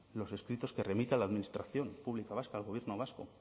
los escritos que remite a la administración pública vasca al gobierno vasco